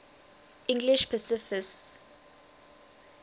english pacifists